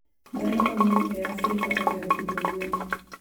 Dhano mang'eny e Afrika ohero pidho gwen.